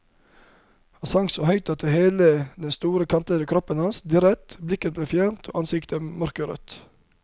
Han sang så høyt at hele den store kantete kroppen hans dirret, blikket ble fjernt og ansiktet mørkerødt.